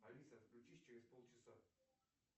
алиса отключись через полчаса